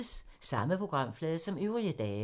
Samme programflade som øvrige dage